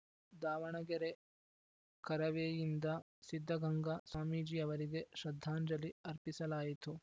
ದಾವಣಗೆರೆ ಕರವೇಯಿಂದ ಸಿದ್ಧಗಂಗಾ ಸ್ವಾಮೀಜಿಯವರಿಗೆ ಶ್ರದ್ಧಾಂಜಲಿ ಅರ್ಪಿಸಲಾಯಿತು